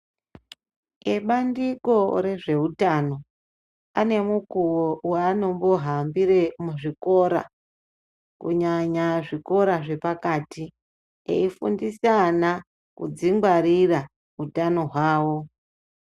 Ebandiko rezveutano ane mukuwo waanombohambire muzvikora kunyanya zvikora zvepakati eifundisa ana kudzingwarira utano hwawo.